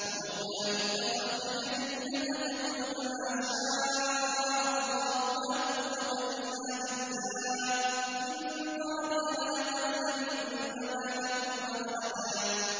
وَلَوْلَا إِذْ دَخَلْتَ جَنَّتَكَ قُلْتَ مَا شَاءَ اللَّهُ لَا قُوَّةَ إِلَّا بِاللَّهِ ۚ إِن تَرَنِ أَنَا أَقَلَّ مِنكَ مَالًا وَوَلَدًا